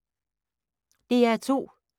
DR2